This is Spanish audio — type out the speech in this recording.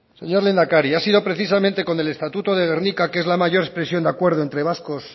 señor lehendakari ha sido precisamente con el estatuto de gernika que es la mayor expresión de acuerdo entre vascos